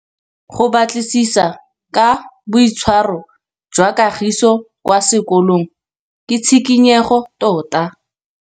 Go batlisisa ka boitshwaro jwa Kagiso kwa sekolong ke tshikinyêgô tota.